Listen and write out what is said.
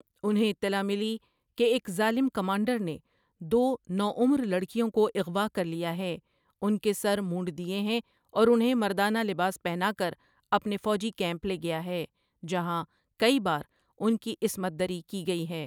انہیں اطلاع ملی کہ ایک ظالم کمانڈر نے دو نو عمر لڑکیوں کو اغواہ کر لیا ہے، ان کے سر مونڈ دئے ہیں اور انہیں مردانہ لباس پہنا کر اپنے فوجی کیمپ لے گیا ہے جہاں کٸی بار ان کی عصمت دری کی گٸی ہیں ۔